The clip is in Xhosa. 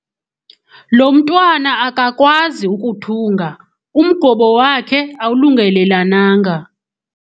Lo mntwana akakwazi ukuthunga umgobo wakhe awulungelelananga.